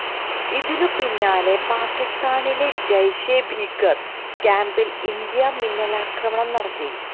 ഇതിനു പിന്നാലെ പാക്കിസ്ഥാനിലെ ജയ്ഷെ ഭീകര ക്യാംപിൽ ഇന്ത്യ മിന്നലാക്രമണം നടത്തി